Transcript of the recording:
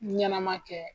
Ɲɛnɛma kɛ